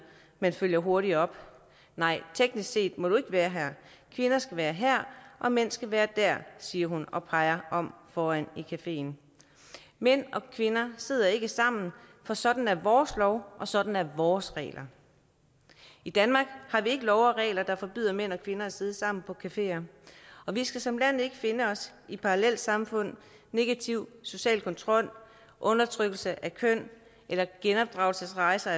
men følger hurtigt op nej teknisk set må du ikke være her kvinder skal være her og mænd skal være der siger hun og peger op foran i cafeen mænd og kvinder sidder ikke sammen for sådan er vores lov og sådan er vores regler i danmark har vi ikke love og regler der forbyder mænd og kvinder at sidde sammen på cafeer og vi skal som land ikke finde os i parallelsamfund negativ social kontrol undertrykkelse af køn eller genopdragelsesrejser